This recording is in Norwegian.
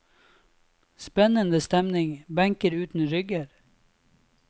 Spennende stemning, benker uten rygger.